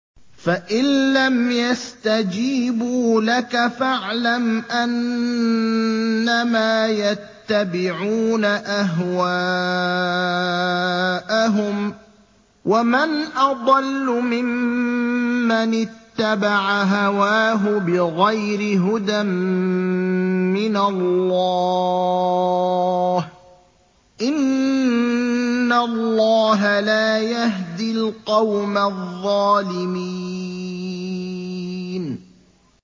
فَإِن لَّمْ يَسْتَجِيبُوا لَكَ فَاعْلَمْ أَنَّمَا يَتَّبِعُونَ أَهْوَاءَهُمْ ۚ وَمَنْ أَضَلُّ مِمَّنِ اتَّبَعَ هَوَاهُ بِغَيْرِ هُدًى مِّنَ اللَّهِ ۚ إِنَّ اللَّهَ لَا يَهْدِي الْقَوْمَ الظَّالِمِينَ